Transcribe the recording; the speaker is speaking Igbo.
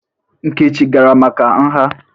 Nkechi gara maka nha?